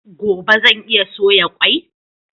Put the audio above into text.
Gobe zan iya soya kwai?